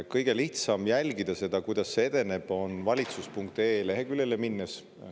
Kõige lihtsam jälgida seda, kuidas see edeneb, on valitsus.ee leheküljeline minnes.